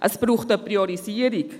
Es braucht eine Priorisierung.